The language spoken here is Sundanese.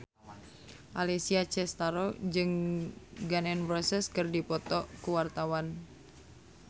Alessia Cestaro jeung Gun N Roses keur dipoto ku wartawan